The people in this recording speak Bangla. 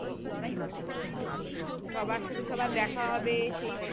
সবার সাথে সবার দেখা হবে সেই